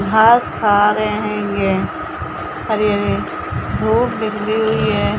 घास खा रहे है ये हरी- हरी धूप निकली हुई हैं।